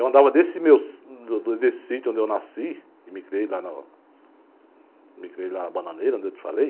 Eu andava desse meu si... desse sítio onde eu nasci e me criei lá na... me criei lá na bananeira, onde eu te falei...